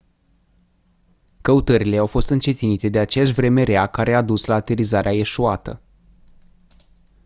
căutările au fost încetinite de aceeași vreme rea care a dus la aterizarea eșuată